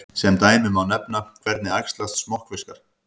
Sem dæmi má nefna: Hvernig æxlast smokkfiskar?